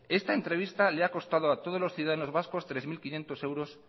esta entrevista le ha costado a todos los ciudadanos vascos tres punto cinco mil euros